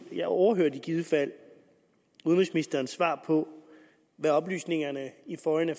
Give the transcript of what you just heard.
jeg overhørte i givet fald udenrigsministerens svar på oplysningerne i foreign